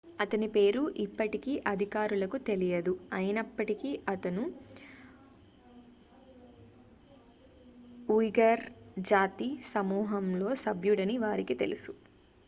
అతని పేరు ఇప్పటికీ అధికారులకు తెలియదు అయినప్పటికీ అతను ఉయ్ఘర్ జాతి సమూహంలో సభ్యుడని వారికి తెలుసు